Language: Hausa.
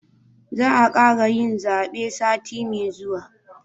Za a kara yin zabe sati mai zuwa